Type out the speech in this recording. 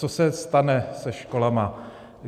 Co se stane se školami?